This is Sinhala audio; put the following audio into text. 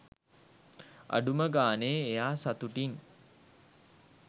අඩුම ගානේ එයා සතුටින්